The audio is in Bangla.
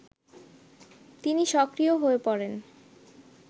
তিনি সক্রিয় হয়ে পড়েন